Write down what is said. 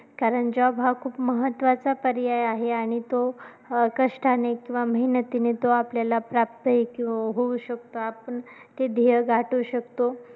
कारण job हा खूप महत्त्वाचा पर्याय आहे आणि तो अं कष्टाने किंवा मेहनतीने तो आपल्याला प्राप्तही होऊ शकतो, आपण ते ध्येय गाठू शकतो.